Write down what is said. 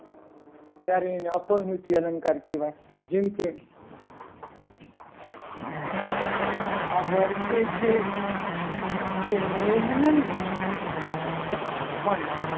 ત્યારે એને અપાવૃત્તિ અલંકાર કહેવાય. જે રીતે આ વર્ષે છે તે મેઘ નહીં પણ